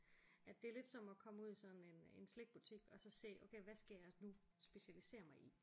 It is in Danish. At det er lidt som at komme ud i sådan en eb slikbutik og se okay hvad skal jeg nu specialisere mig i